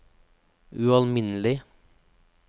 ualminnelig